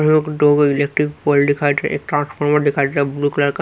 एक दो electric pole दिखाई दे रहे एक ट्रांसफार्मर दिखाई दे रहा ब्लू कलर का।